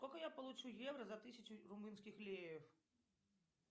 сколько я получу евро за тысячу румынских леев